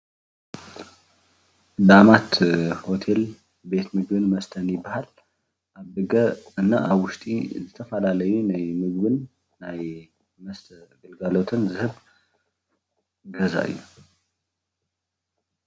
ዳኣማት ሆቴል ቤት ምግብን መስተን ይባሃል፡፡ ኣብ ደገን ኣብ ውሽጢን ዝተፈላለዩ ናይ ምግብን ናይ መስተን ግልጋሎት ዝህብ ገዛ እዩ፡፡